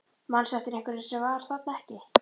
Manstu eftir einhverjum sem var þarna ekki?